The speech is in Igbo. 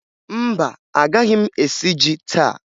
Mba, agaghị m esi ji taa